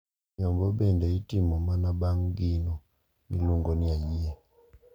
Nyombo bende itimo mana bang` gino miluongo ni "ayie".